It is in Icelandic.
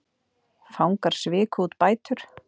Fangar sviku út bætur